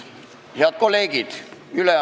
Head kolleegid!